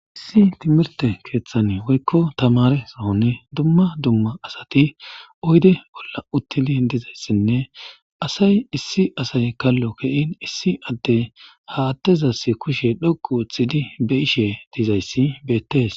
Issi timirte keeththani woykko tamare sohoni dumma dumma asati uyde bolla uttili dizayssinne asay issi asay kallo ke'in issi adde ha attezass kushe dhoqu oththidi be ishe dizayssi beettees